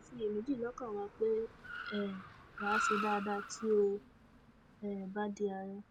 a kò sì ṣiyèméjì lọkàn wa pé um wa á ṣe dáadáa tí ó um bá di àárẹ